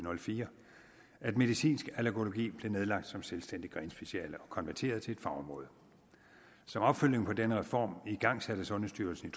og fire at medicinsk allergologi blev nedlagt som selvstændigt grenspeciale og konverteret til et fagområde som opfølgning på denne reform igangsatte sundhedsstyrelsen